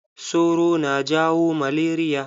Soro na jawo malaria.